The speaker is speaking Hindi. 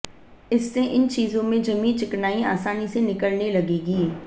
इससे इन चीजों में जमी चिकनाई आसानी से निकलने लगेगी